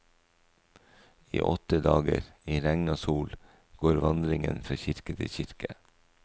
I åtte dager, i regn og sol, går vandringen fra kirke til kirke.